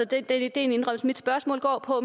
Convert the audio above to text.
det er en indrømmelse mit spørgsmål går på